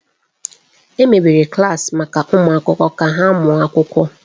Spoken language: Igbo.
Emebere klaasị maka ụmụ akwụkwọ ka ha mụọ akwụkwọ.